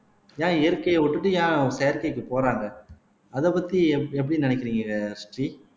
ஏன் இயற்கையை விட்டுட்டு ஏன் செயற்கைக்கு போறாங்க அதை பத்தி எப் எப்படி நினைக்கிறீங்க ஸ்ரீ